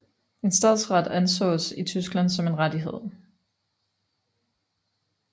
En stadsret ansås i Tyskland som en rettighed